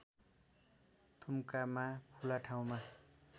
थुम्कामा खुला ठाउँमा